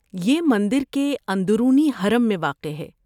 یہ مندر کے اندرونی حرم میں واقع ہے۔